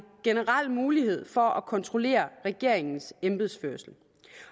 generel mulighed for at kontrollere regeringens embedsførelse